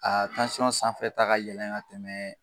A sanfɛ ta ka yɛlɛn ka tɛmɛ